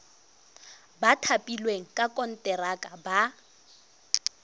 ba thapilweng ka konteraka ba